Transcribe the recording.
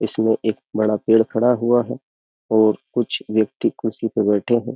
इसमें एक बड़ा पेड़ खड़ा हुआ है और कुछ व्यक्ति कुर्सी पर बैठे है।